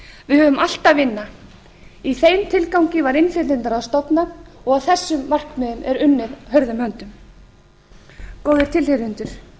við höfum allt að vinna í þeim tilgangi var innflytjendaráð stofnað og að þessum markmiðum er unnið hörðum höndum góðir tilheyrendur